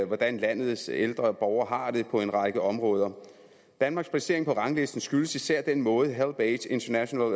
hvordan landets ældre borgere har det på en række områder danmarks placering på ranglisten skyldes især den måde helpage international